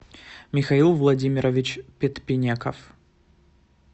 михаил владимирович петпенеков